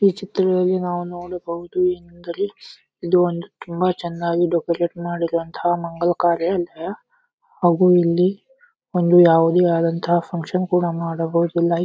ಈ ಚಿತ್ರದಲ್ಲಿ ನಾವು ನೋಡಬಹುದು ಎಂದರೆ ಇದು ಒಂದು ತುಂಬಾ ಚನ್ನಾಗಿ ಡೆಕೋರಟ್ ಮಾಡಿರುವಂತಹ ಮಂಗಳಕಾರ್ಯ ಎಂದರೆ ಹಾಗು ಇಲ್ಲಿ ಒಂದು ಯಾವುದೆ ಆದಂತಹ ಫಕ್ಷನ್ ಕೂಡ ಮಾಡಬಹುದು ಲೈಕ್ --